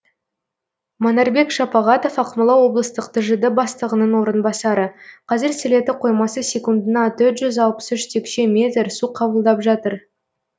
манарбек шапағатов ақмола облыстық тжд бастығының орынбасары қазір сілеті қоймасы секундына төрт жүз алпыс үш текше метр су қабылдап жатыр